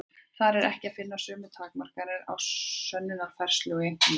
Þar er ekki að finna sömu takmarkanir á sönnunarfærslu og í einkamálum.